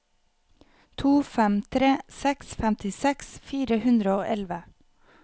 to fem tre seks femtiseks fire hundre og elleve